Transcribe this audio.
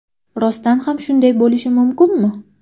Rostdan ham shunday bo‘lishi mumkinmi?